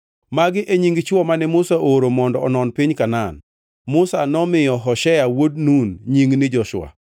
Magi e nying chwo mane Musa ooro mondo onon piny Kanaan. (Musa nomiyo Hoshea wuod Nun nying ni Joshua.)